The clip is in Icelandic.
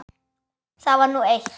Það var nú eitt.